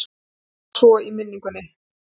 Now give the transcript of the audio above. Hún hljómar svo í minningunni